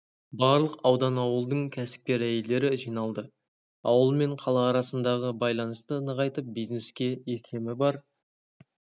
барлық аудан ауылдың кәсіпкер әйелдері жиналды ауыл мен қала арасындағы байланысты нығайтып бизнеске икемі бар